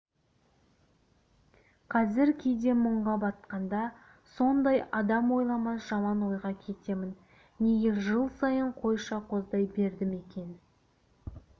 қазір кейде мұңға батқанда сондай адам ойламас жаман ойға кетемін неге жыл сайын қойша қоздай бердім екен